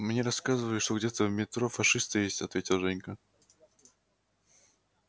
мне рассказывали что где-то в метро фашисты есть ответил женька